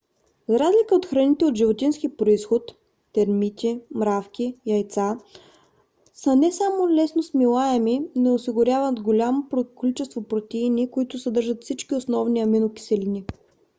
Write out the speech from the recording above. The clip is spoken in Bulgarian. за разлика храните от животински произход термити мравки яйца са не само лесно смилаеми но и осигуряват голямо количество протеини които съдържат всички основни аминокиселини